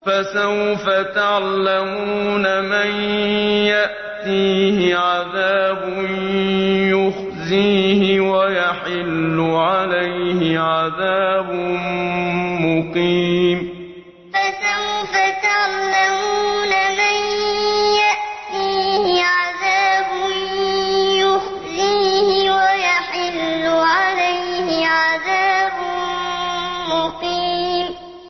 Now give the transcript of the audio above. فَسَوْفَ تَعْلَمُونَ مَن يَأْتِيهِ عَذَابٌ يُخْزِيهِ وَيَحِلُّ عَلَيْهِ عَذَابٌ مُّقِيمٌ فَسَوْفَ تَعْلَمُونَ مَن يَأْتِيهِ عَذَابٌ يُخْزِيهِ وَيَحِلُّ عَلَيْهِ عَذَابٌ مُّقِيمٌ